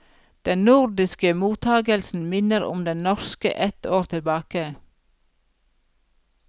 Den nordiske mottagelsen minner om den norske et år tilbake.